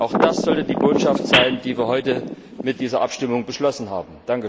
Auch das sollte die Botschaft sein, die wir heute mit dieser Abstimmung beschlossen haben.